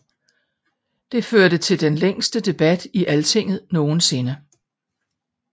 Det førte til den længste debat i Alltinget nogensinde